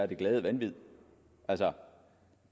det glade vanvid altså